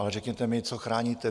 Ale řekněte mi, co chráníte?